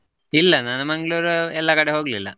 ಇಲ್ಲ ನಾನ್ Mangalore ಎಲ್ಲಾ ಕಡೆ ಹೋಗ್ಲಿಲ್ಲಾ.